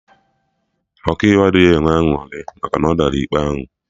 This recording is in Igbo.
Ọkaiwu adịghị enwe aṅụrị maka na ọ dara ikpe ahụ